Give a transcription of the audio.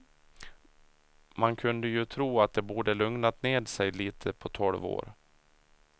Man kunde ju tro att det borde lugnat ned sig lite på tolv år.